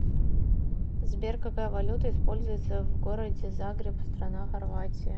сбер какая валюта используется в городе загреб страна хорватия